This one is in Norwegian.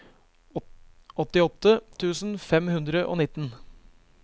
åttiåtte tusen fem hundre og nitten